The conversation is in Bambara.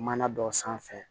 Mana dɔ sanfɛ